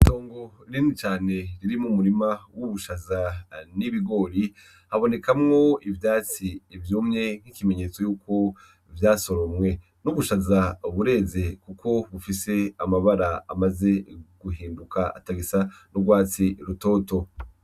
Itongo rinini cane ririmwo umurima wubushaza nibigori habonekamwo ivyatsi vyumye nkikimenyetso yuko vyasoromwe. Nubushaza bureze kuko bufise amabara amaze guhinduka atagisa n’ugwatsi rutoto.